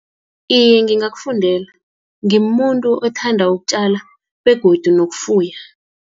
Iye, ngingakufundela, ngimuntu othanda ukutjala, begodu nokufuya.